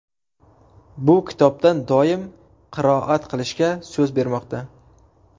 Bu kitobdan doim qiroat qilishga so‘z bermoqda.